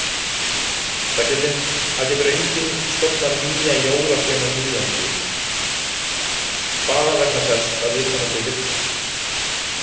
Það getur enginn stofnað nýja jólasveinanýlendu bara vegna þess að viðkomandi vill það.